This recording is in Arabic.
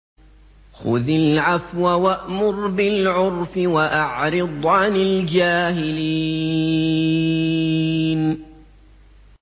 خُذِ الْعَفْوَ وَأْمُرْ بِالْعُرْفِ وَأَعْرِضْ عَنِ الْجَاهِلِينَ